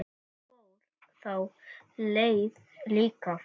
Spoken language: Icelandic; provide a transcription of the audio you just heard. Ég fór þá leið líka.